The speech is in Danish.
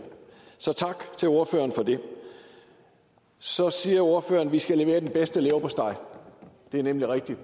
så tak til ordføreren for det så siger ordføreren at vi skal levere den bedste leverpostej det er nemlig rigtigt